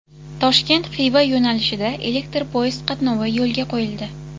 Toshkent Xiva yo‘nalishida elektr poyezd qatnovi yo‘lga qo‘yildi .